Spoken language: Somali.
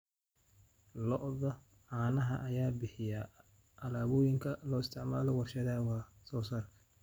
Lo'da caanaha ayaa bixiya alaabooyinka loo isticmaalo warshadaha wax soo saarka.